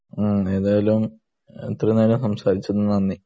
മ്മ് ഏതായാലും ഇത്രേം നേരം സംസാരിച്ചതിന് നന്ദി